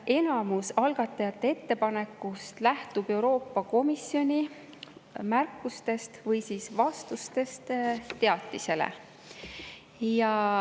Enamus algatajate ettepanekutest lähtub Euroopa Komisjoni märkustest või siis vastustest teatisele.